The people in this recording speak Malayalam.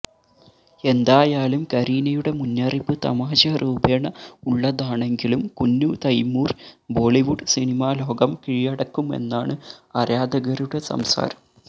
എന്തായാലും കരീനയുടെ മുന്നറിയിപ്പ് തമാശ രൂപേണ ഉളളതാണെങ്കിലും കുഞ്ഞു തൈമൂര് ബോളിവുഡ് സിനിമാ ലോകം കീഴടക്കുമെന്നാണ് ആരധകരുടെ സംസാരം